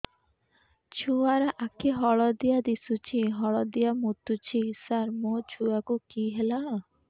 ଛୁଆ ର ଆଖି ହଳଦିଆ ଦିଶୁଛି ହଳଦିଆ ମୁତୁଛି ସାର ମୋ ଛୁଆକୁ କି ହେଲା